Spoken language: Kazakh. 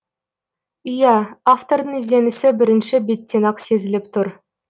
иә автордың ізденісі бірінші беттен ақ сезіліп тұр